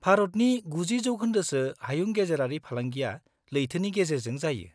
-भारतनि 90% सो हायुंगेजेरारि फालांगिया लैथोनि गेजेरजों जायो।